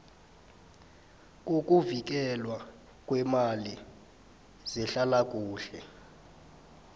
ngokuvikelwa kweemali zehlalakuhle